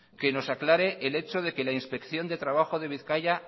que nos aclare el hecho de que la inspección de trabajo de bizkaia